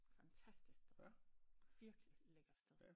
Fantastisk sted virkelig lækker sted